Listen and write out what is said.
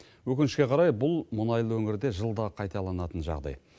өкінішке қарай бұл мұнайлы өңірде жылда қайталанатын жағдай